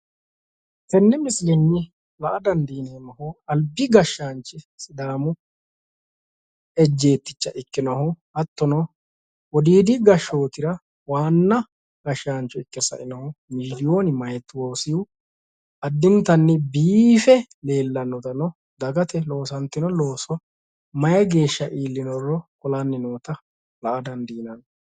tenne misilenni la''a dandiineemmohu albi gashshaanchi sidaamu ejjeetticha ikkinohu hattono wodiidi gashshootira waanna gashshaancho ikke sainohu miilooni maatoosihu addintanni biife leellannotano dagate loosantino looso mayi geeshsha iillinoro qolanni noota la''a dandiinanni.